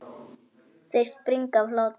Þeir springa af hlátri.